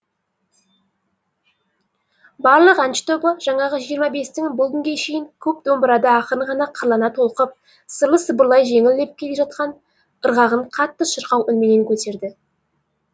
барлық әнші тобы жаңағы жиырма бестің бұл күнге шейін көп домбырада ақырын ғана қырлана толқып сырлы сыбырлай жеңіл лепіп келе жатқан ырғағын қатты шырқау үнменен көтерді